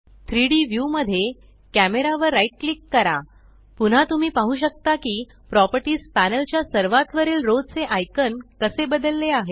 3डी व्यू मध्ये कॅमेरा वर राइट क्लिक करा पुन्हा तुम्ही पाहु शकता की प्रॉपर्टीस पॅनल च्या सर्वात वरील रो चे आयकॉन कसे बदलले आहेत